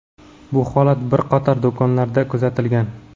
Bu holat bir qator do‘konlarda kuzatilgan.